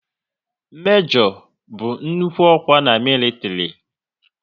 Mejo bụ nnukwu ọkwa na militiri